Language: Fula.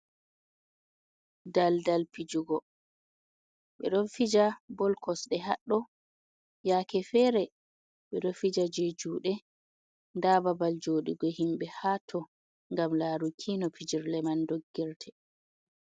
Daldal pijugo be don fija bol kosde haddo, yake fere be do fija je jude da babal jodugo himbe ha to gam laru kino pijirle man doggirte.